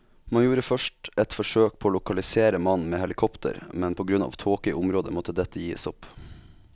Man gjorde først et forsøk på å lokalisere mannen med helikopter, men på grunn av tåke i området måtte dette gis opp.